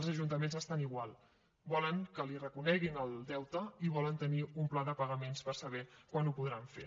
els ajuntaments estan igual volen que li reconeguin el deute i volen tenir un pla de pagaments per saber quan ho podran fer